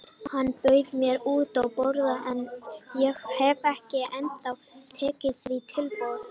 Hann bauð mér út að borða en ég hef ekki ennþá tekið því tilboð.